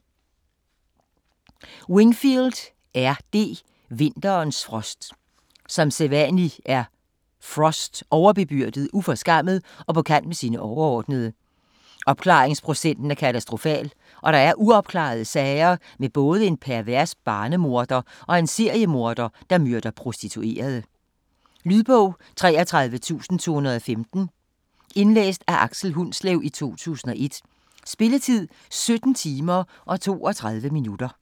Wingfield, R. D.: Vinterens frost Som sædvanlig er Frost overbebyrdet, uforskammet og på kant med sine overordnede. Opklaringsprocenten er katastrofal, og der er uopklarede sager med både en pervers barnemorder og en seriemorder, der myrder prostituerede. Lydbog 33215 Indlæst af Aksel Hundslev, 2001. Spilletid: 17 timer, 32 minutter.